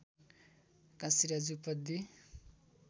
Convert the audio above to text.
Kashiraj Upadhyay